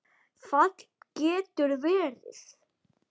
Fall getur verið